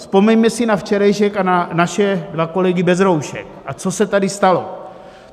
Vzpomeňme si na včerejšek a na naše dva kolegy bez roušek, a co se tady stalo.